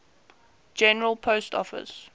general post office